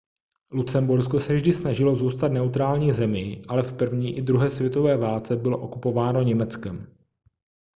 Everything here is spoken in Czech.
lucembursko se vždy snažilo zůstat neutrální zemí ale v první i druhé světové válce bylo okupováno německem